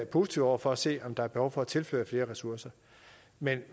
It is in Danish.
positive over for at se på om der er behov for at tilføre flere ressourcer men